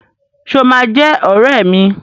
Ṣé o máa jẹ́ ọrẹ́ mi?